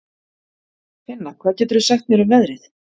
Finna, hvað geturðu sagt mér um veðrið?